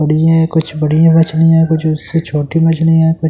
कुछ बढ़िया मछलियां है कुछ उस से छोटी मछलीयां है कु--